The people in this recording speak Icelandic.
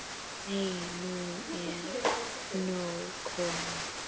Nei, nú er nóg komið!